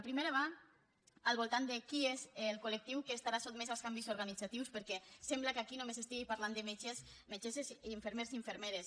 la primera va al voltant de quin és el col·lectiu que estarà sotmès als canvis organitzatius perquè sembla que aquí només s’estigui parlant de metges metgesses i infermers i infermeres